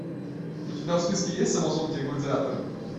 у тебя в списке есть амазонки и гладиаторы